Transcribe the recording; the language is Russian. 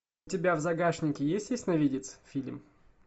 у тебя в загашнике есть ясновидец фильм